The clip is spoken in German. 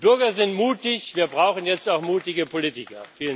Die Bürger sind mutig wir brauchen jetzt auch mutige Politiker.